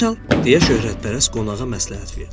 Əl çal, deyə şöhrətpərəst qonağa məsləhət verdi.